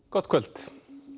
gott kvöld